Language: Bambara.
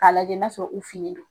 A lajɛ n'a sɔrɔ u finen do.